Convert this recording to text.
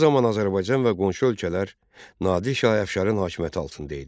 Bu zaman Azərbaycan və qonşu ölkələr Nadir şah Əfşarın hakimiyyəti altında idi.